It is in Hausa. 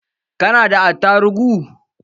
Ka nada attarugu?